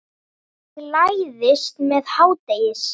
Ég læðist með hádegis